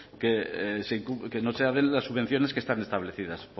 que no se den las subvenciones que están establecidas